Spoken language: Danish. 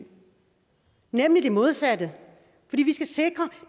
modsatte